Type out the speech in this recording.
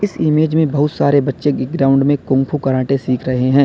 इस इमेज में बहुत सारे बच्चे की ग्राउंड में कुंमफू कराटे सीख रहे हैं।